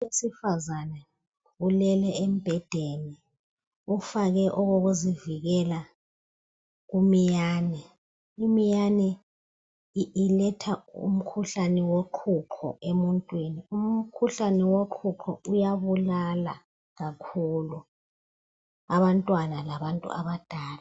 Owesifazana ulele embhedeni ufake okokuzivikela kumiyane. Imiyane iletha umkhuhlane woqhuqho emuntwini. Umkhuhlane woqhuqho uyabulala kakhulu abantwana labantu abadala.